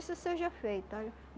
seja feita, olha.